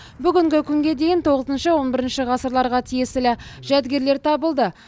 бүгінгі күнге дейін тоғызыншы он бірінші ғасырларға тиесілі жәдігерлер табылды